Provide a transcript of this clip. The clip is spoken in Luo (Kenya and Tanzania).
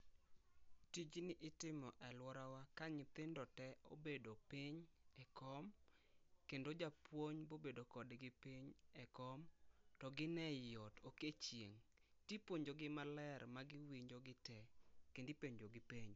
Tijni itimo e aluorawa ka nyithindo tee obedo piny e kom kendo japuonj obedo kodgi piny e kom kendo gin ei ot ok e chieng tipuonogi maler ma giwinjo gitee kendo ipenjo gi penjo